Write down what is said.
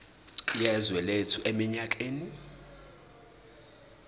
yezwe lethu eminyakeni